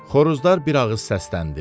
Xoruzlar bir ağız səsləndi.